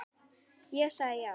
Ég sagði já.